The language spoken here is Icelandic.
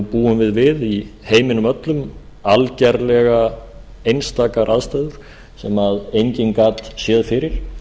búum við við í heiminum öllum algerlega einstakar aðstæður sem enginn gat séð fyrir